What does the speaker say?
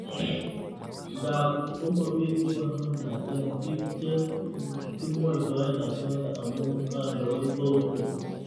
Ngap komapitu paornat eng' piik che kimwoitoe asoya amu kandoik ko unye